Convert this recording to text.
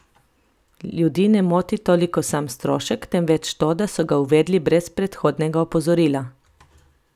Ljudi ne moti toliko sam strošek, temveč to, da so ga uvedli brez predhodnega opozorila.